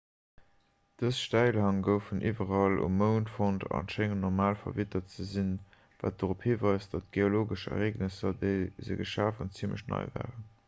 dës stäilhäng goufen iwwerall um mound fonnt a schéngen normal verwittert ze sinn wat dorop hiweist datt d'geologesch ereegnesser déi se geschaf hunn zimmlech nei waren